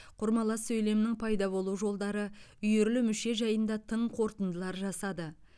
құрмалас сөйлемнің пайда болу жолдары үйірлі мүше жайында тың қорытындылар жасады